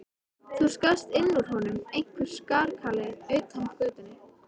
Það skarst inn úr honum einhver skarkali utan af götunni.